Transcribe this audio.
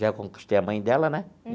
Já conquistei a mãe dela, né?